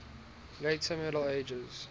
later middle ages